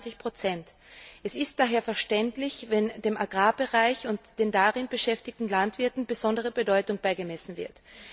26 Es ist daher verständlich, wenn dem Agrarbereich und den darin beschäftigten Landwirten besondere Bedeutung beigemessen wird.